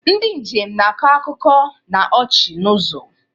Ndị njem na-akọ akụkọ na ọchị n'ụzọ.